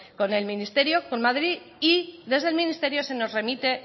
con el ministerio con madrid y desde el ministerio se nos remite